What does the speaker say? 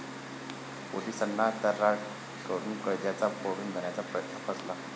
पोलिसांना 'तर्राट' करून कैद्यांचा पळून जाण्याचा प्रयत्न फसला